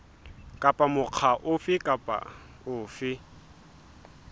kapa mokga ofe kapa ofe